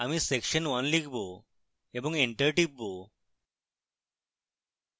আমি section 1 লিখব এবং enter টিপব